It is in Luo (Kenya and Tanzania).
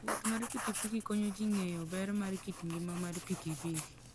Wuoth mar pikipiki konyo ji ng'eyo ber mar kit ngima mar pikipiki.